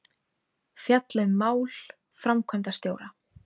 Fjalla um mál framkvæmdastjóra